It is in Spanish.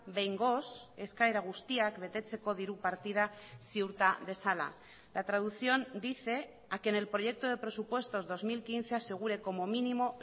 behingoz eskaera guztiak betetzeko diru partida ziurta dezala la traducción dice a que en el proyecto de presupuestos dos mil quince asegure como mínimo